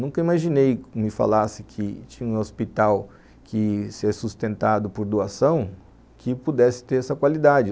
Nunca imaginei, que me falasse que tinha um hospital que seria sustentado por doação, que pudesse ter essa qualidade.